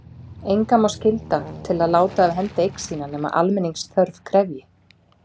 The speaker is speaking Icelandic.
Engan má skylda til að láta af hendi eign sína nema almenningsþörf krefji.